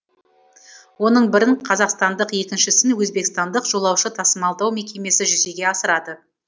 оның бірін қазақстандық екіншісін өзбекстандық жолаушы тасымалдау мекемесі жүзеге асырады